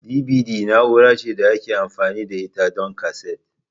DBD na'ura ce da ake amfani da ita don kaset.